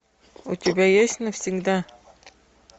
у тебя есть навсегда